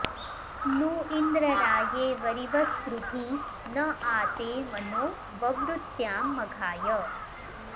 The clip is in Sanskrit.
नू इ॑न्द्र रा॒ये वरि॑वस्कृधी न॒ आ ते॒ मनो॑ ववृत्याम म॒घाय॑